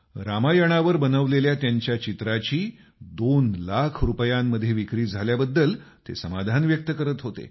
रामायणावर बनवलेल्या त्यांच्या चित्राची दोन लाख रुपयांमध्ये विक्री झाल्याबद्दल ते समाधान व्यक्त करत होते